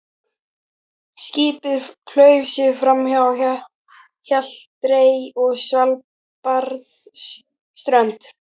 Skipið klauf sig framhjá Hjalteyri og Svalbarðsströnd.